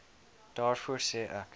daarvoor sê ek